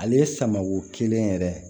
Ale ye samako kelen yɛrɛ ye